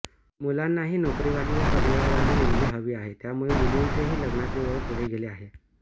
मुलांनाही नोकरीवाली व करियरवाली मुलगी हवी आहे त्यामुळे मुलींचेही लग्नाचे वय पुढे गेले आहे